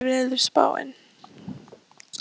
Marólína, hvernig er veðurspáin?